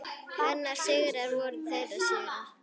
Hennar sigrar voru þeirra sigrar.